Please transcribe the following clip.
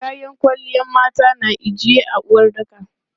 Kayan kwalliyan mata na ijiye a uwaɗɗaka.